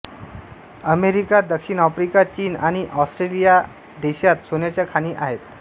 America दक्षिण Africa चीन आणि ऑस्ट्रेलियाह्या देशांत सोन्याच्या खाणी आहेत